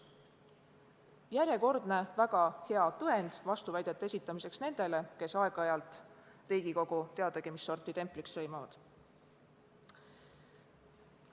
See on järjekordne väga hea tõend vastuväidete esitamiseks nendele, kes Riigikogu aeg-ajalt teadagi mis sorti templiks sõimavad.